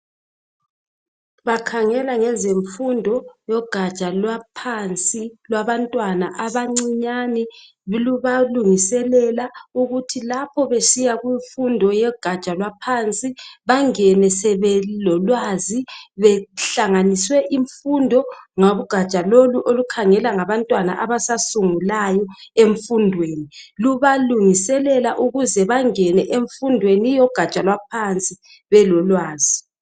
Bakhangela ngezemgundo zogaja leaphansi olwabantwana abancane libalungiselela ukulapha besika egaja lwaphansi bangene sebelolwazi benhlanganiswe imfundo ngogada lolu olukhangela ngabantwana abasa subungulayo emfundeni lubalungiselela ukuze bangene emfundweni logaja lwaphansi belolwazi